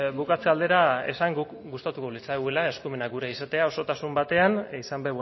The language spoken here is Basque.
bukatzen aldera esan gustatuko litzaigukeela eskumenak gure izatea osotasun batean izan